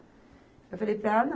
Eu falei para ela, não.